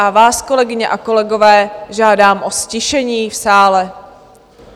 A vás, kolegyně a kolegové, žádám o ztišení v sále.